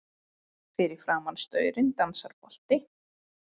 Fyrir framan staurinn dansar bolti.